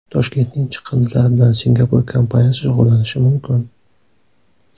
Toshkentning chiqindilari bilan Singapur kompaniyasi shug‘ullanishi mumkin.